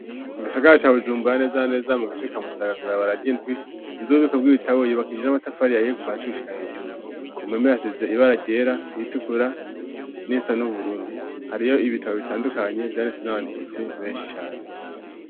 Mu gisagara ca Bujumbura neza na neza mu gace ka musaga , kwibarabara ryindwi , inzu yububiko bw'ibitabo, yubakishi ij'amatafar' ahiye kuva hasi gushika hejuru . ku mpome hasize ibara ryera iritukura n'irisa n'ubururu. Hariyo ibitabo bitandukanye vyanditswe n'abanditsi benshi cane.